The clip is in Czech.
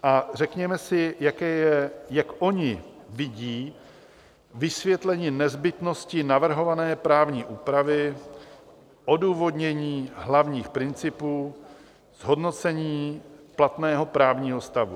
A řekněme si, jak oni vidí vysvětlení nezbytnosti navrhované právní úpravy, odůvodnění hlavních principů zhodnocení platného právního stavu.